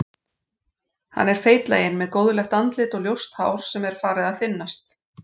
Hann er feitlaginn með góðlegt andlit og ljóst hár sem er farið að þynnast.